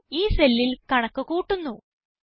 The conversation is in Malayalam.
ഫലം ഈ cellൽ കണക്ക് കൂട്ടുന്നു